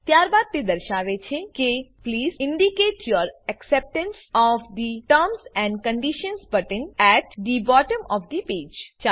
ત્યારબાદ તે દર્શાવે છે કે please indicate your acceptance of the terms and conditions button at the bottom of the page